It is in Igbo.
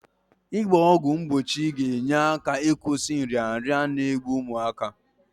Ị gba ọgwụ mgbochi ga-enye aka ịkwụsị nrịanrịa n'egbu ụmụaka.